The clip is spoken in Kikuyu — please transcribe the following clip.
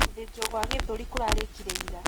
Gũthĩjwo gwa gĩthũri kũrĩkĩkire ira.